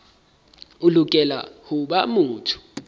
o lokela ho ba motho